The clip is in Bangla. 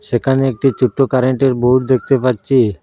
সেখানে একটি ছোট কারেন্টের বোর্ড দেখতে পাচ্ছি।